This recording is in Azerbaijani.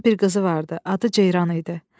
Onun bir qızı vardı, adı Ceyran idi.